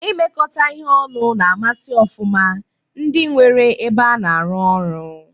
Imekọ ihe ọnụ na-amasi ofụma ndị nwere ebe a na-arụ ọrụ